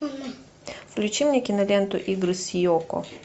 включи мне киноленту игры с йоко